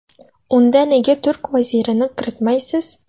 Unda nega turk vazirini kiritmaysiz?.